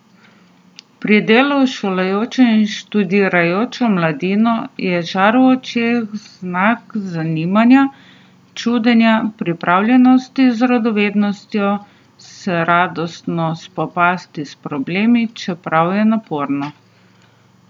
Pri delu s šolajočo in študirajočo mladino je žar v očeh znak zanimanja, čudenja, pripravljenosti z radovednostjo se radostno spopasti s problemi, čeprav je naporno.